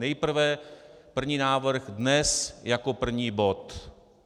Nejprve první návrh, dnes jako první bod.